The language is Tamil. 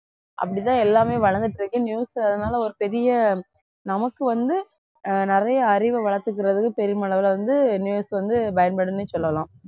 அப்படிதான் எல்லாமே வளர்ந்துட்டு இருக்கு news அதனால ஒரு பெரிய நமக்கு வந்து ஆஹ் நிறைய அறிவை வளர்த்துக்கிறதுக்கு பெருமளவுல வந்து news வந்து பயன்படும்னே சொல்லலாம்